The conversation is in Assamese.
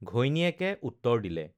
ঘৈণীয়েকে উত্তৰ দিলে